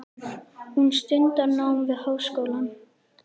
Hún stundar nám við háskólann.